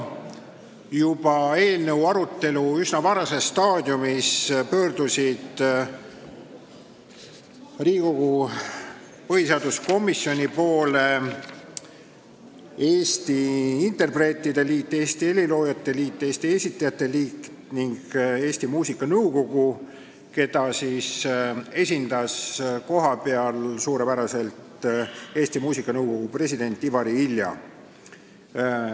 Juba eelnõu arutelu üsna varases staadiumis pöördusid Riigikogu põhiseaduskomisjoni poole Eesti Interpreetide Liit, Eesti Heliloojate Liit, Eesti Esitajate Liit ning Eesti Muusikanõukogu, keda esindas kohapeal suurepäraselt muusikanõukogu president Ivari Ilja.